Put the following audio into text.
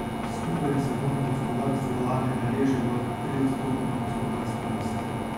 Skupaj je svetovno gospodarstvo lani beležilo triodstotno gospodarsko rast.